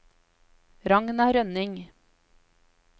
Ragna Rønning